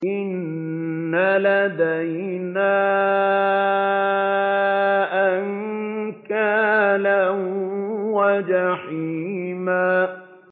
إِنَّ لَدَيْنَا أَنكَالًا وَجَحِيمًا